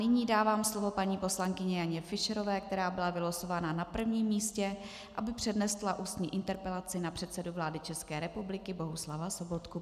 Nyní dávám slovo paní poslankyni Janě Fischerové, která byla vylosovaná na prvním místě, aby přednesla ústní interpelaci na předsedu vlády České republiky Bohuslava Sobotku.